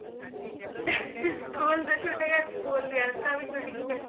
school ਤਾਂ ਛੁੱਟ ਗਏ school ਦੀ ਆਦਤਾ ਵੀ ਛੁੱਟ ਗਿਆਂ